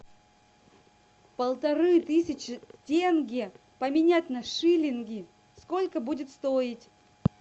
полторы тысячи тенге поменять на шиллинги сколько будет стоить